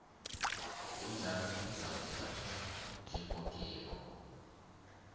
onjalo uzakuthathwa njengongekho